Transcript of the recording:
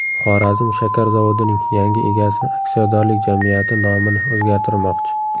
Xorazm shakar zavodining yangi egasi aksiyadorlik jamiyati nomini o‘zgartirmoqchi.